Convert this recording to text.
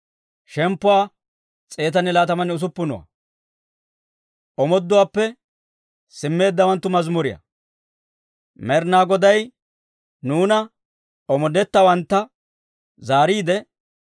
Med'inaa Goday nuuna omoodetteeddawantta zaariide, S'iyoone aheedda wode, nuw akumuwaa malateedda.